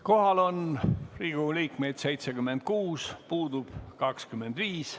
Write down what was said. Kohal on Riigikogu liikmeid 76 ja puudub 25.